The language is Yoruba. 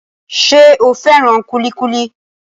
Ṣé o fẹ́ràn kúlíkúlí?